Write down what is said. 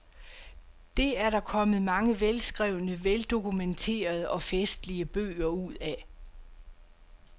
Det er der kommet mange velskrevne, veldokumenterede og festlige bøger ud af.